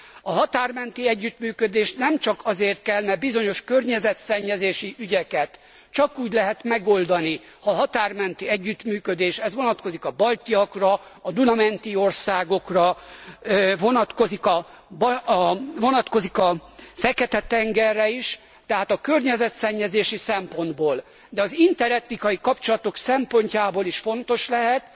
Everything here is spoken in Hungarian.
A határ menti együttműködés nem csak azért kell, mert bizonyos környezetszennyezési ügyeket csak úgy lehet megoldani, ha a határ menti együttműködés ez vonatkozik a baltiakra, a Duna menti országokra, vonatkozik a Fekete tengerre is tehát a környezetszennyezési szempontból, de az interetnikai kapcsolatok szempontjából is fontos lehet,